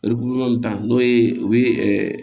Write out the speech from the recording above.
tan n'o ye u bi ɛ